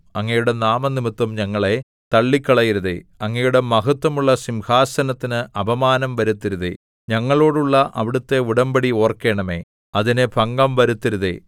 അങ്ങയുടെ നാമംനിമിത്തം ഞങ്ങളെ തള്ളിക്കളയരുതേ അങ്ങയുടെ മഹത്വമുള്ള സിംഹാസനത്തിനു അപമാനം വരുത്തരുതേ ഞങ്ങളോടുള്ള അവിടുത്തെ ഉടമ്പടി ഓർക്കണമേ അതിന് ഭംഗം വരുത്തരുതേ